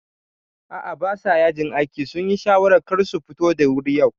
A'a basa yajin aiki, sunyi shawarar karsu futu da wuri yau